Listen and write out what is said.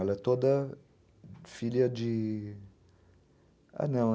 Ela é toda filha de... Ah, não.